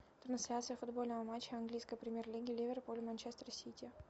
трансляция футбольного матча английской премьер лиги ливерпуль манчестер сити